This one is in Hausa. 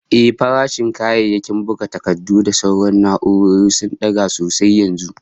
Ehh, farashin kayayyakin buga takardu da sauran na'urori sun daga sosai yanzu